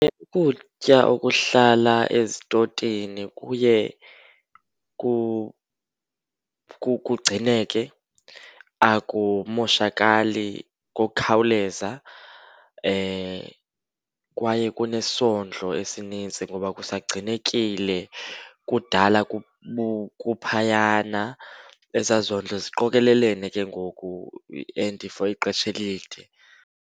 Ukutya okuhlala ezitotini kuye kugcineke akumoshakali ngokukhawuleza. Kwaye kunesondlo esinintsi ngoba kusagcinekile, kudala kuphayana. Ezaa zondlo ziqokelelene ke ngoku and for ixesha elide.